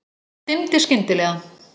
Það dimmdi skyndilega.